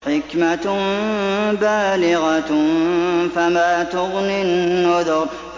حِكْمَةٌ بَالِغَةٌ ۖ فَمَا تُغْنِ النُّذُرُ